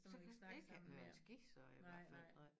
Så kan man ikke have være på skift så i hvert fald nej